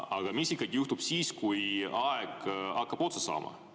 Aga mis juhtub siis, kui aeg hakkab otsa saama?